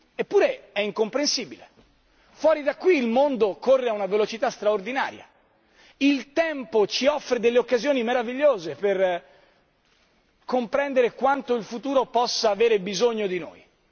Eppure è incomprensibile fuori da qui il mondo corre a una velocità straordinaria, il tempo ci offre delle occasioni meravigliose per comprendere quanto il futuro possa avere bisogno di noi.